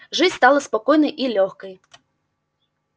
жизнь стала спокойной и лёгкой